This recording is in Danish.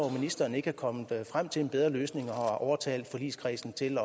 at ministeren ikke er kommet frem til en bedre løsning og har overtalt forligskredsen til